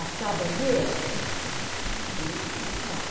Astear a bandeira, governo militar.